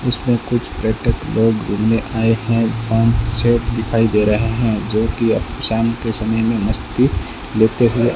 इसमें कुछ बैठक लोग घूमने आए हैं पांच सेट दिखाई दे रहे हैं जो कि शाम के समय में मस्ती लेते हुए --